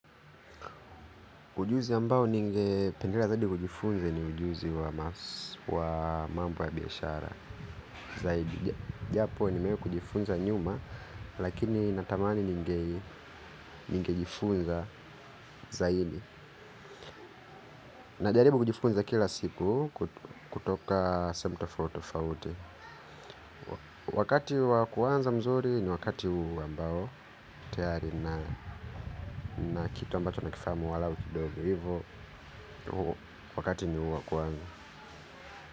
Ujuzi ambao ningependelea zaidi kujifunze ni ujuzi wa mambo ya biashara. Zaidi, japo nimewahi kujifunza nyuma, lakini natamani ningejifunza zaidi. Najaribu kujifunza kila siku kutoka sehemu tofauti tofauti. Wakati wakuanza mzuri ni wakati huu ambao, tayari nina kitu ambacho nakifanya walau kidogo. Hivyo, wakati ni huu wa kuanza.